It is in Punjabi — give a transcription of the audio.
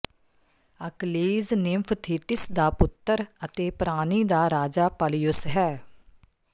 ਅਕਲੀਜ਼ ਨਿੰਫ ਥੀਟਿਸ ਦਾ ਪੁੱਤਰ ਅਤੇ ਪ੍ਰਾਣੀ ਦਾ ਰਾਜਾ ਪਲਯੁਸ ਹੈ